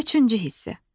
Üçüncü hissə.